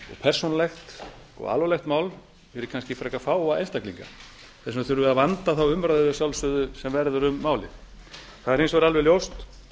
persónulegt og alvarlegt mál fyrir kannski frekar fáa einstaklinga þess vegna þurfum við að sjálfsögðu að vanda þá umræðu sem verður um málið það er hins vegar alveg ljóst